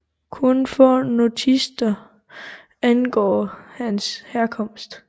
Kun få notitser angår hans herkomst